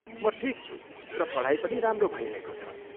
म ठिक छु र पढाइ पनि राम्रो भइरहेको छ।